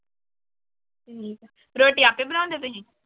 ਰੋਟੀ ਆਪੇ ਬਣਾਉਂਦੇ ਤੁਸੀਂ।